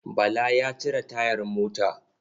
Bala ya cire tayar mota.